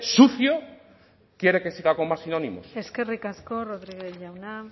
sucio quiere que siga con más sinónimos eskerrik asko rodriguez jauna